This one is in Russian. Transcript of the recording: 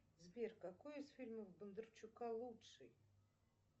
сбер какой из фильмов бондарчука лучший